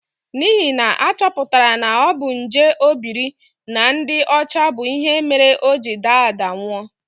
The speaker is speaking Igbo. N'ihi na a chọpụtara na ọ bu nje obiri na ndị ọcha bụ ihe mere o ji daa daa nwụọ.